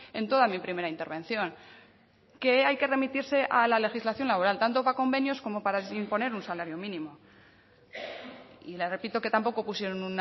en toda mi primera intervención que hay que remitirse a la legislación laboral tanto para convenios como para imponer un salario mínimo y le repito que tampoco pusieron